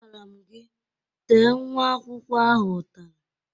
A gwaram gị, Tee nwa akwụkwọ ahụ ụtalị